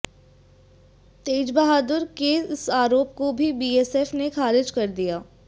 तेजबहादुर के इस आरोप को भी बीएसएफ ने ख़ारिज कर दिया